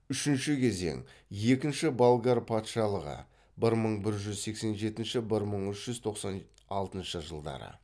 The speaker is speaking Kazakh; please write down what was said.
үшінші кезең екінші болгар патшалығы